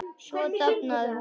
Svo dofnaði hún.